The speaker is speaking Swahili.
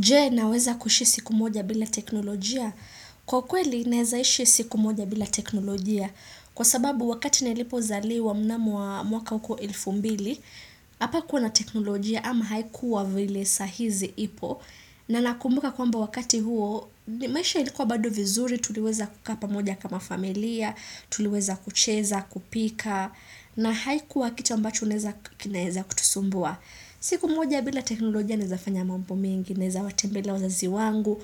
Je naweza kushi siku moja bila teknolojia. Kwa kweli nawezaishi siku moja bila teknolojia. Kwa sababu wakati nilipo zaliwa mnamo wa mwaka huko elfu mbili. Hapa kuwa na teknolojia ama haikuwa vile saahizi ipo. Na nakumbuka kwamba wakati huo maisha ilikuwa bado vizuri. Tuliweza kukaa pamoja kama familia. Tuliweza kucheza, kupika. Na haikuwa kitu ambacho naweza kinaweza kutusumbua. Siku moja bila teknolojia nawezafanya mambo mengi. Naweza watembelea wazazi wangu